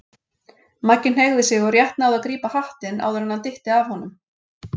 Maggi hneigði sig og rétt náði að grípa hattinn áður en hann dytti af honum.